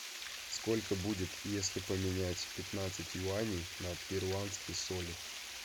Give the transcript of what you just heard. сколько будет если поменять пятнадцать юаней на перуанские соли